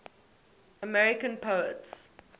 american poets